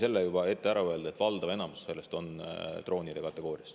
Aga ma võin juba ette ära öelda, et enamus sellest on droonide kategoorias.